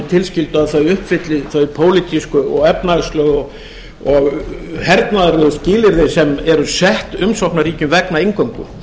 tilskildu að þau uppfylli þau pólitísku efnahagslegu og hernaðarlegu skilyrði sem eru sett umsóknarríkjum vegna inngöngu